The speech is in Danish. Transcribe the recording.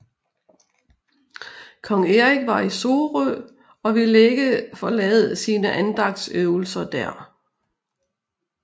Kong Erik var i Sorø og ville ikke forlade sine andagtsøvelser der